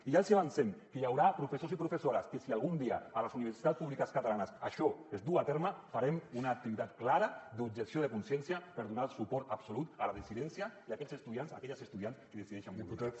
i ja els avancem que hi haurà professors i professores que si algun dia a les universitats públiques catalanes això es du a terme farem una activitat clara d’objecció de consciència per donar suport absolut a la dissidència i a aquells estudiants i aquelles estudiants que decideixen mobilitzar se